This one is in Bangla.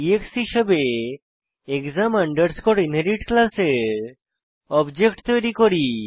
এক্স হিসাবে এক্সাম আন্ডারস্কোর ইনহেরিট ক্লাসের অবজেক্ট তৈরী করি